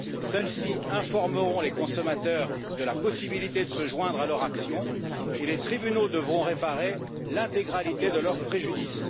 Celles ci informeront les consommateurs de la possibilité de se joindre à leur action et les tribunaux devront réparer l'intégralité de leur préjudice.